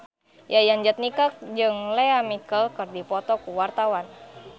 Yayan Jatnika jeung Lea Michele keur dipoto ku wartawan